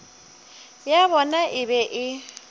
ya bona e be e